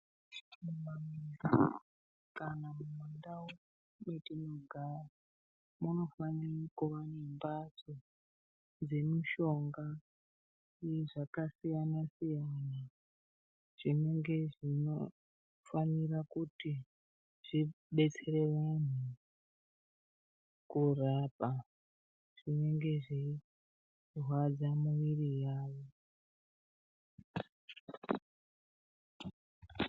Kana mundau mwatinogara munofanire kuva nemhatso dzemushonga yezvakasiyana-siyana zvinga zvinofanira kuti zvidetsere antu kurapa zvinge zvinenge zveirwadza mumwiri yavo .